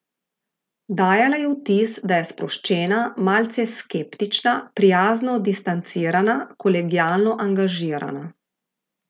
Dajala je vtis, da je sproščena, malce skeptična, prijazno distancirana, kolegialno angažirana.